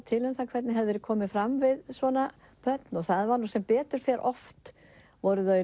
til um það hvernig hefði verið komið fram við svona börn og það var nú sem betur fer oft voru þau